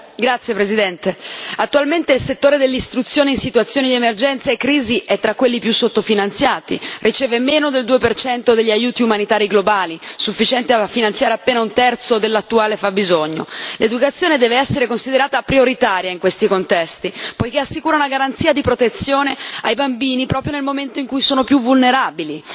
Signor Presidente, onorevoli colleghi, attualmente il settore dell'istruzione in situazioni di emergenze e crisi è tra quelli più sottofinanziati riceve meno del 2 degli aiuti umanitari globali, sufficiente a finanziare appena un terzo dell'attuale fabbisogno. L'educazione deve essere considerata prioritaria in questi contesti, poiché assicura una garanzia di protezione ai bambini, proprio nel momento in cui sono più vulnerabili.